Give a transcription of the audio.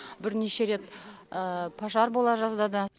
бірнеше рет пожар бола жаздады